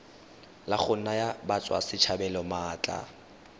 la go naya batswasetlhabelo maatla